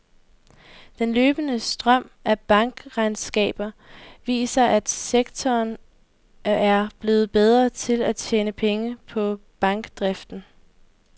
Den løbende strøm af bankregnskaber viser, at sektoren er blevet bedre til at tjene penge på bankdriften.